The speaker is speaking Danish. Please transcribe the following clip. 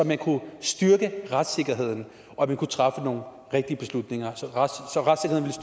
man kunne styrke retssikkerheden og man kunne træffe nogle rigtige beslutninger så retssikkerheden